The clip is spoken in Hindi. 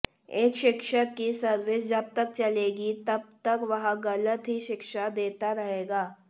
एक शिक्षक की सर्विस जब तक चलेगी तब तक वह गलत ही शिक्षा देता रहेगा